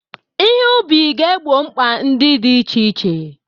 Ihe ubi ga-egbo mkpa ndị dị iche iche.